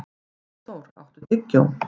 Magnþór, áttu tyggjó?